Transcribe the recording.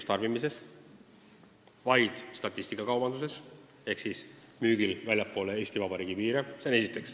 Seda võib kasutada vaid statistikakaubanduses ehk siis müügil väljapoole Eesti Vabariigi piire.